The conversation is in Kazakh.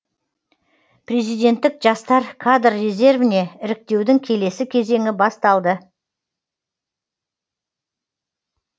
президенттік жастар кадр резервіне іріктеудің келесі кезеңі басталды